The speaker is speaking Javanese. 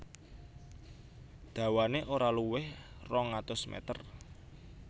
Dawané ora luwih rong atus meter